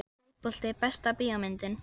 Fótbolti Besta bíómyndin?